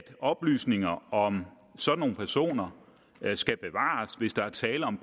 oplysninger om sådanne personer skal bevares hvis der er tale om